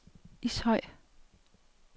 Ishøj